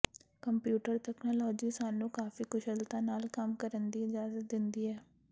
computer technology ਸਾਨੂੰ ਕਾਫ਼ੀ ਕੁਸ਼ਲਤਾ ਨਾਲ ਕੰਮ ਕਰਨ ਦੀ ਇਜਾਜ਼ਤ ਦਿੰਦੀ ਹੈ